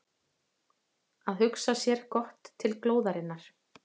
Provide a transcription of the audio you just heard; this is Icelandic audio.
Að hugsa sér gott til glóðarinnar